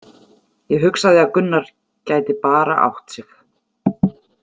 Ég hugsaði að Gunnar gæti bara átt sig!